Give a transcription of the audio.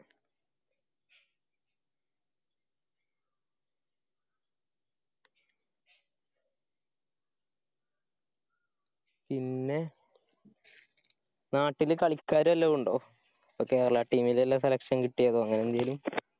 പി~ന്നെ നാട്ടില് കളിക്കാര് വല്ലരും ഉണ്ടോ? ഇപ്പോ Kerala team ലിള്ള selection കിട്ട്യാതോ അങ്ങനെന്തേലും